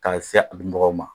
K'a se a minbagaw ma